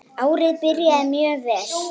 Árið byrjar mjög vel.